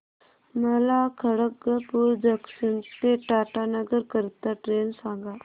मला खडगपुर जंक्शन ते टाटानगर करीता ट्रेन सांगा